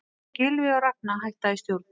Gylfi og Ragna hætta í stjórn